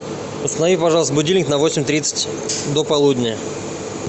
установи пожалуйста будильник на восемь тридцать до полудня